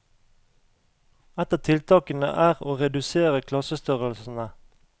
Ett av tiltakene er å redusere klassestørrelsene.